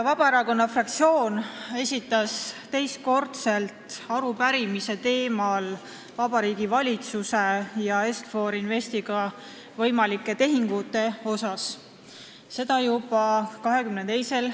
Vabaerakonna fraktsioon esitas juba 22. märtsil teist korda arupärimise Vabariigi Valitsuse ja Est-For Investi võimalike tehingute teemal.